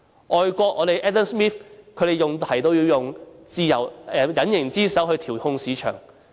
外國經濟學家 Adam SMITH 提出，要用隱形之手去調控市場。